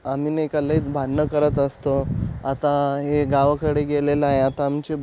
आम्ही नय का लयच भांडण करत असतो आत्ता हे गावाकडे गेलेल आहे आता आमचे --